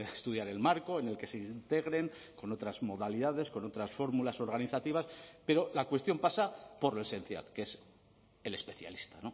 estudiar el marco en el que se integren con otras modalidades con otras fórmulas organizativas pero la cuestión pasa por lo esencial que es el especialista